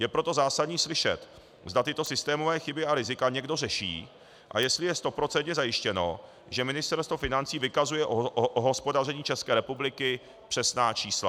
Je proto zásadní slyšet, zda tyto systémové chyby a rizika někdo řeší a jestli je stoprocentně zajištěno, že Ministerstvo financí vykazuje o hospodaření České republiky přesná čísla.